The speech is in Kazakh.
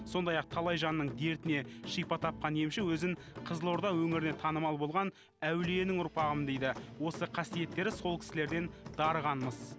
сондай ақ талай жанның дертіне шипа тапқан емші өзін қызылорда өңіріне танымал болған әулиенің ұрпағымын дейді осы қасиеттері сол кісілерден дарыған мыс